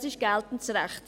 Das ist geltendes Recht.